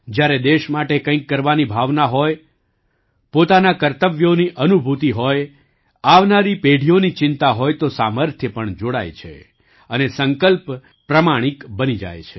જ્યારે દેશ માટે કંઈક કરવાની ભાવના હોય પોતાનાં કર્તવ્યોની અનુભૂતિ હોય આવનારી પેઢીઓની ચિંતા હોય તો સામર્થ્ય પણ જોડાય છે અને સંકલ્પ પ્રમાણિક બની જાય છે